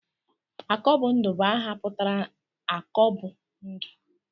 Akọbụndụ bụ aha pụtara 'akọ bụ ndụ'